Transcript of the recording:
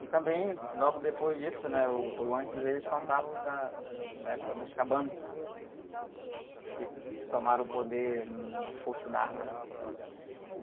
E também, logo depois disso, né? Ou, ou antes, eles contavam da, do, da época dos Cabanos, que tomaram o poder na força da arma, né?